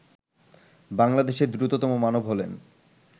বাংলাদেশের দ্রুততম মানব হলেন